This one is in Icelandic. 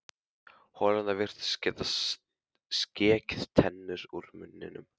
Holurnar virtust geta skekið tennur úr munninum.